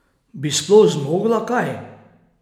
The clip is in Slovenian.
Bi sploh zmogla kaj?